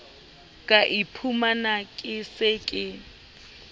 ka iphumana ke se ke